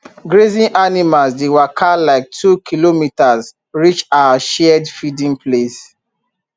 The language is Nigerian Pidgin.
grazing animals dey waka like two kilometres reach our shared feeding place